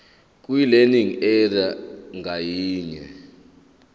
kwilearning area ngayinye